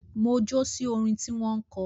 Mo jó sí orin tí wọ́n kọ